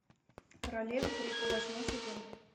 королева крика восьмой сезон